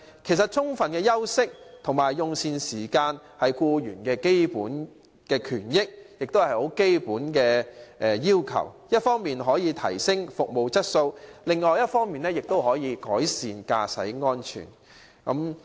其實充分的休息和用膳時間是僱員的基本權益，亦是很基本的要求，一方面可以提升服務質素，另一方面也可以改善司機的駕駛安全。